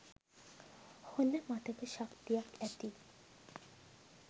හොඳ මතක ශක්තියක් ඇති